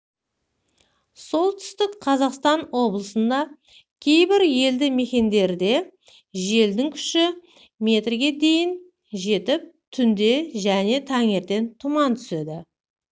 солтүстік қазақстан облысында кейбір елді мекендерде желдің күші мі дейін жетіп түнде және таңертең тұман түседі